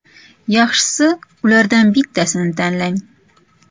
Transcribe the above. Yaxshisi, ulardan bittasini tanlang.